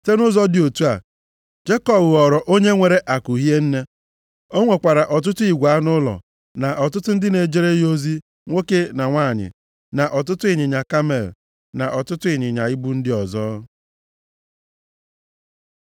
Site nʼụzọ dị otu a, Jekọb ghọrọ onye nwere akụ hie nne. O nwekwara ọtụtụ igwe anụ ụlọ na ọtụtụ ndị na-ejere ya ozi nwoke na nwanyị, na ọtụtụ ịnyịnya kamel, na ọtụtụ ịnyịnya ibu ndị ọzọ.